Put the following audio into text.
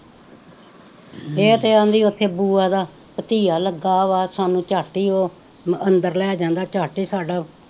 ਹਮ ਏ ਤੇ ਕਹਿੰਦੀ ਓਥੇ ਬੂਆ ਦਾ ਬਤੀਆ ਲੱਗਾ ਵਾਂ ਸਾਨੂੰ ਚੱਟ ਹੀ ਓਹ ਅੰਦਰ ਲੈ ਜਾਂਦਾ ਚੱਟ ਸਾਡਾ,